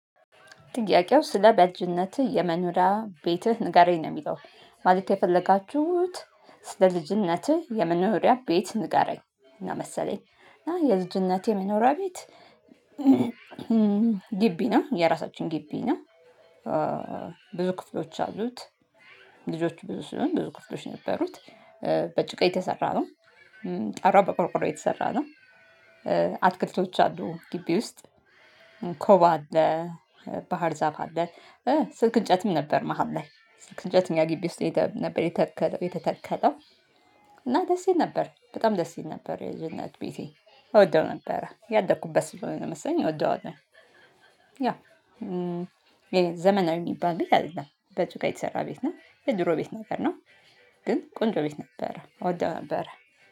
ጥያቄው ስለ በልጅነትህ የመኖሪያ ቤትህ ንገረኝ? ነው የሚለው ማለት የፈለጋችሁት ስለ ልጅነትህ የመኖሪያ ቤት ንገረኝ መሰለኝ እና የልጅነቴ የመኖሪያ ቤት ግቢ ነው የራሳችን ግቢ ነው ብዙ ክፍሎች አሉት ልጆች ብዙ ስለሆንን ብዙ ክፍሎች ነበሩት። በጭቃ የተሰራ ነው ጣራው በቆርቆሮ የተሰራ ነው። አትክልቶች አሉ ግቢ ውስጥ ኮባ አለ፣ ባህር ዛፍ አለ፣ ስልክ እንጨትም ነበር መሃል ላይ ስልክ እንጨት እኛ ግቢ ውስጥ ነበር የተተከለው እና ደስ ይል ነበር በጣም ደስ ይል ነበር የልጅነት ቤቴ እወደው ነበር ያደኩበት ስለሆነ መሰለኝ እወደዋለሁ ዘመናዊ የሚባል ቤት አይደለም። በጭቃ የተሰራ ቤት ነው የድሮ ቤት ነገር ነው ግን ቆንጆ ቤት ነበረ እወደው ነበረ